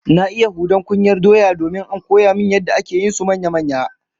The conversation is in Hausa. Na iya hudan kunyar doya domin an koya min yadda ake yin su manya-manya